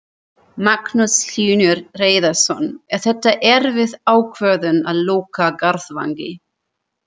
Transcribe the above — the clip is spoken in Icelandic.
Magnús Hlynur Hreiðarsson: Er þetta erfið ákvörðun að loka Garðvangi?